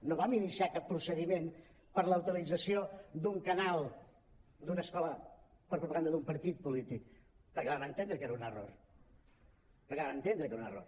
no vam iniciar cap procediment per la utilització d’un canal d’una escola per a propaganda d’un partit polític perquè vam entendre que era un error perquè vam entendre que era un error